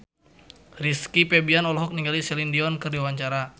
Rizky Febian olohok ningali Celine Dion keur diwawancara